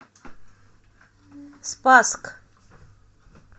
спасск